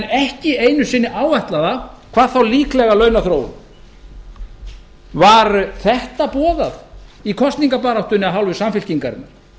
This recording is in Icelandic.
ekki einu sinni áætlaða hvað þá líklega launaþróun var þetta boðað í kosningabaráttunni af hálfu samfylkingarinnar